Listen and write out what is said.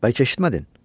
Bəlkə eşitmədin?